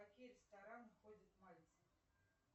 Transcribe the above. в какие рестораны ходит мальцев